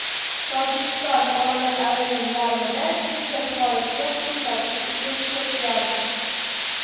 Tojikiston oilalarining yarmida kimdir xorijga pul topish uchun ketgan.